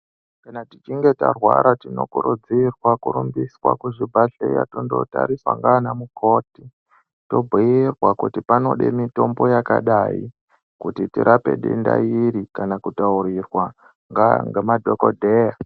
Kana tichinge tarwara, tinokurudzirwe kurumbiswa kuzvibhedhlera, tondotariswa ngaana mukoti tobhuyirwa kuti panode mitombo yakadai tirape denda iri kana kutaurirwa ngemadhogodheya.